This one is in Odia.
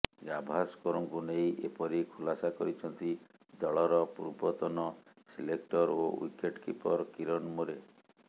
ଗାଭାସ୍କରଙ୍କୁ ନେଇ ଏପରି ଖୁଲାସା କରିଛନ୍ତି ଦଳର ପୂର୍ବତନ ସିଲେକ୍ଟର ଓ ଓ୍ୱିକେଟକିପର କିରନ ମୋରେ